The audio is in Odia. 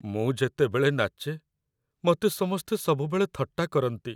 ମୁଁ ଯେତେବେଳେ ନାଚେ ମତେ ସମସ୍ତେ ସବୁବେଳେ ଥଟ୍ଟା କରନ୍ତି ।